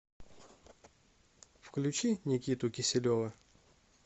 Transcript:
включи никиту киселева